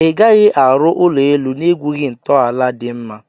Igaghi arụ ụlọ elụ na egwughi ntọala di mma.